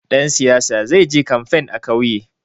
Ɗan siyaya zai je kamfen a ƙauye.